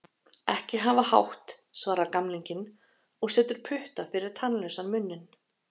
Ekki hafa hátt, svarar gamlinginn og setur putta fyrir tannlausan munninn.